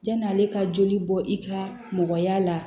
Janni ale ka joli bɔ i ka mɔgɔya la